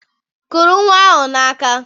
Kuru nnwa ahụ n'aka!